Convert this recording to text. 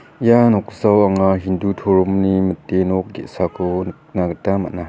ia noksao anga hindu toromni mite nok ge·sako nikna gita man·a.